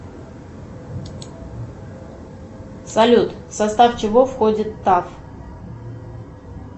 салют в состав чего входит таф